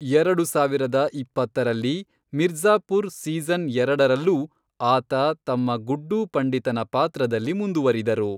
ಎರಡು ಸಾವಿರದ ಇಪ್ಪತ್ತರಲ್ಲಿ, ಮಿರ್ಜಾ಼ಪುರ್ ಸೀಸನ್ ಎರಡರಲ್ಲೂ ಆತ ತಮ್ಮ ಗುಡ್ಡೂ ಪಂಡಿತನ ಪಾತ್ರದಲ್ಲಿ ಮುಂದುವರಿದರು.